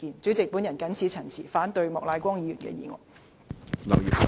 主席，我謹此陳辭，反對莫乃光議員的議案。